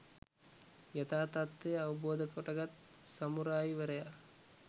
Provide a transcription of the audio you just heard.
යථා තත්ත්වය අවබෝධ කොටගත් සමුරායිවරයා